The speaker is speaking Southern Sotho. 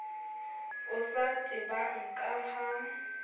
o sa tebang ka ha